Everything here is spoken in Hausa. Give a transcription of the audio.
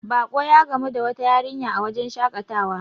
bako ya gamu da wata yarinya a wajen shakatawa